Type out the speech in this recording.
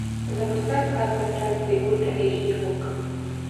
запускай сказка странствий ультра эйч ди окко